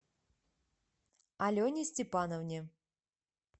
алене степановне